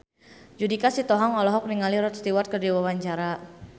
Judika Sitohang olohok ningali Rod Stewart keur diwawancara